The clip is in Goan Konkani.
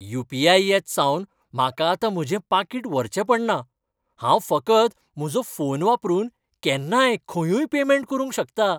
यू. पी. आय. येतसावन म्हाका आतां म्हजें पाकीट व्हरचें पडना. हांव फकत म्हजो फोन वापरून केन्नाय खंयूय पेमॅन्ट करूंक शकतां.